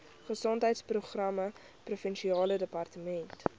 gesondheidsprogramme provinsiale departement